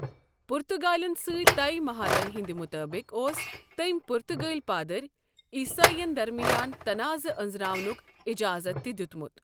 پُرتگالٮ۪ن سۭتۍ طے مہادن ہندِ مُطٲبِق اوس تٔمۍ پرٗتگٲلۍ پادٕر عیسٲئین درمیان تناعضہٕ انزراونٗك اجازت تہِ دِیوٗتمٗت ۔